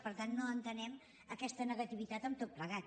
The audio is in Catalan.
per tant no entenem aquesta negativitat amb tot plegat